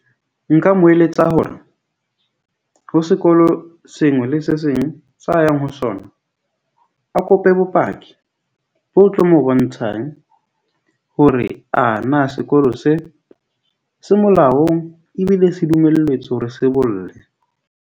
Nka mo eletsa hore ho sekolo sengwe le se seng sa yang ho sona. A kope bopaki bo tlo mo bontshang hore ana sekolo se, se molaong ebile se dumelletswe hore se bolle.